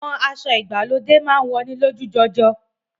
Awọn ìfihàn aṣa aṣa ni aṣọ ati apá aṣọ mú awọn ojú.